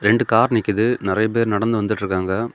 ரெண்டு கார் நிக்குது நறைய பேர் நடந்து வந்துட்டு இருக்காங்க.